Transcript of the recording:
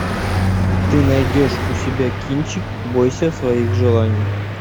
ты найдешь у себя кинчик бойся своих желаний